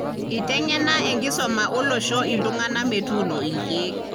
itangena enkisuma olosho iltungana metuuno ilkeek.